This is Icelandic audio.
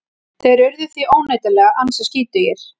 Þeir urðu því óneitanlega ansi skítugir.